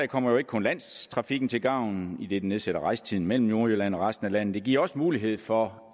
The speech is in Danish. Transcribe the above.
kommer ikke kun landstrafikken til gavn idet det nedsætter rejsetiden mellem nordjylland og resten af landet det giver også mulighed for